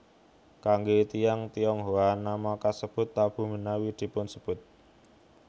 Kangge tiyang Tionghoa nama kasebut tabu menawi dipunsebut